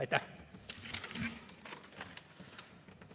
Aitäh!